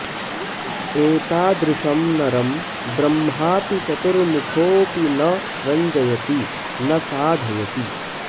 एतादृशं नरं ब्रह्माऽपि चतुर्मुखोऽपि न रञ्जयति न साधयति